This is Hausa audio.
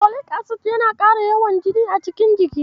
Folik acid yana ƙara yawan jini a cikin jiki.